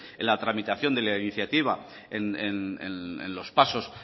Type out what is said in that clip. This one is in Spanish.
en la tramitación de la iniciativa en los pasos